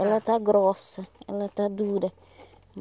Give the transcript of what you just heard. Ela está grossa, ela está dura.